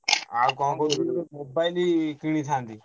ଆଉ କଣ mobile କିଣିଥାନ୍ତି।